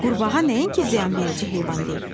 Qurbağa nəyənsə ziyanverici heyvan deyil.